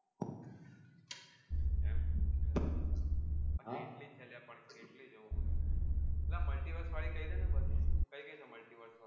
હા એટલી જ છે લ્યા પણ કેટલી જોવું આલા multiverse વાડી કઈડે ને કઈ કઈ છે multiverse